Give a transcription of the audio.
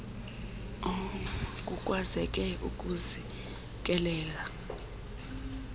kukwazeke ukuzi kelela